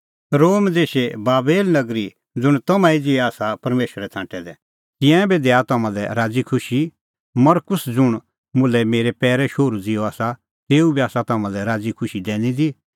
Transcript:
रोम देशे बाबेल नगरी ज़ुंण तम्हां ई ज़िहै आसा परमेशरै छ़ांटै दै तिंयां बी दैआ तम्हां लै राज़ीखुशी मरकुस ज़ुंण मुल्है मेरै शोहरू ज़िहअ आसा तेऊ बी आसा तम्हां लै राज़ी खुशी दैनी दी